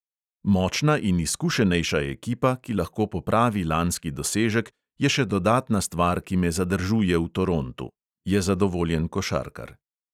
"Močna in izkušenejša ekipa, ki lahko popravi lanski dosežek, je še dodatna stvar, ki me zadržuje v torontu," je zadovoljen košarkar.